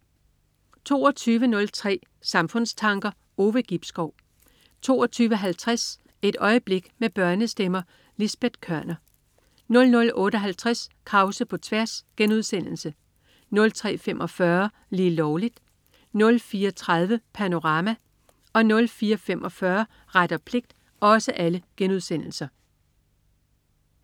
22.03 Samfundstanker. Ove Gibskov 22.50 Et øjeblik med børnestemmer. Lisbet Koerner 00.58 Krause på tværs* 03.45 Lige Lovligt* 04.30 Panorama* 04.45 Ret og pligt*